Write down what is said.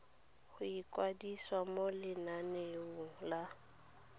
go ikwadisa mo lenaneong la